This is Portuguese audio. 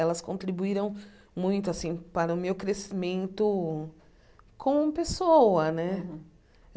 Elas contribuíram muito assim para o meu crescimento como pessoa né. Uhum